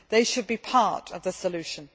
They should be part of the solution.